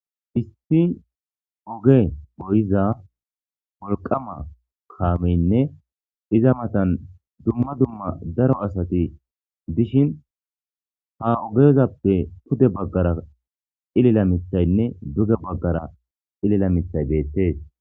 issi oge goyiza wolqama kaameyinne iza matan dumma dumma daro asati dishin ha ogezappe pude baggara cilila mithayinne duge baggara cilila mithay beettees